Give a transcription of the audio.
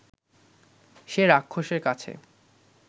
সে রাক্ষসের কাছে